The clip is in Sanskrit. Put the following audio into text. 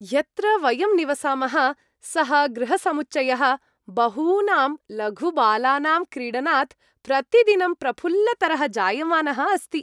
यत्र वयं निवसामः सः गृहसमुच्चयः बहूनां लघुबालानां क्रीडनात् प्रतिदिनं प्रफुल्लतरः जायमानः अस्ति।